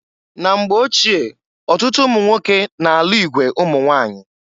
Na mgba ochie ọtụtụ ụmụnwoke na-alụ igwe ụmụnwanyị.